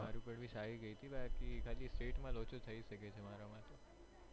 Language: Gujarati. મારું પણ ભી સારી ગઈ તી બાકી પણ ખાલી state માં લોચો થઇ સકે છે મારા માં તો